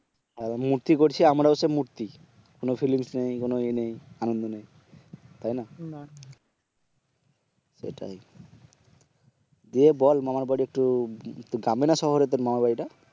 এখন মূর্তি করছে আমরা হচ্ছে মূর্তি কোনো ফিলিংস নেই কোনো ইয়ে নেই আনন্দ নেই তাই না? না এটাই দিয়ে বল মামার বাড়ি একটু গ্রামে না শহরে তোর মামার বাড়িটা?